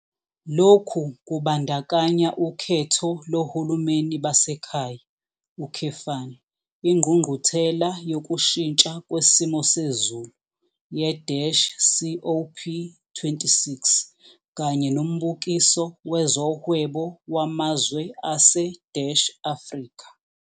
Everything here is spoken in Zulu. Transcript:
Lokhu kubandakanya ukhetho lohulumeni basekhaya, ingqungquthela yokushintsha kwesimo sezulu ye-COP26 kanye noMbukiso Wezohwebo Wamazwe ase-Afrika.